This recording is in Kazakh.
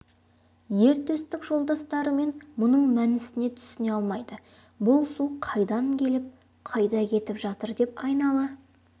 ер төстік жолдастарымен мұның мәнісіне түсіне алмайды бұл су қайдан келіп қайда кетіп жатыр деп айнала